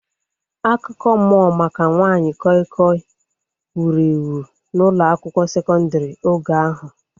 Akụkọ mmụọ maka nwanyị koi koi wuru ewu n'ụlọ akwụkwọ sekondri oge ahu